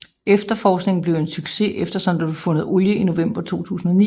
Efterforskningen blev en succes eftersom der blev fundet olie i november 2009